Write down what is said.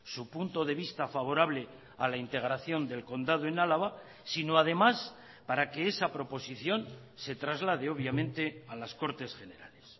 su punto de vista favorable a la integración del condado en álava sino además para que esa proposición se traslade obviamente a las cortes generales